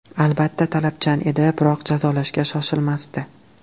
Albatta, talabchan edi, biroq jazolashga shoshilmasdi.